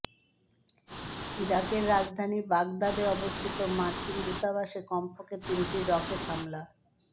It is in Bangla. ইরাকের রাজধানী বাগদাদে অবস্থিত মার্কিন দূতাবাসে কমপক্ষে তিনটি রকেট হামলা